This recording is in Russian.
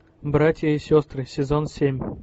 братья и сестры сезон семь